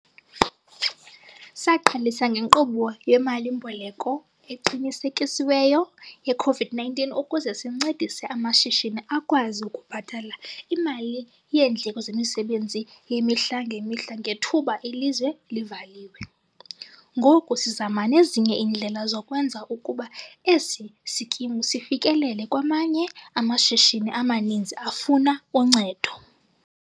Saqalisa ngeNkqubo yeMali-mboleko Eqinisekisiweyo ye-COVID-19 ukuze sincedise amashishini akwazi ukubhatala imali yeendleko zemisebenzi yemihla ngemihla ngethuba ilizwe livaliwe, ngoku sizama nezinye indlela zokwenza ukuba esi sikimu sifikelele kwamanye amashishini amaninzi afuna uncedo.